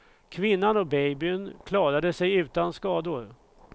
Kvinnan och babyn klarade sig utan skador.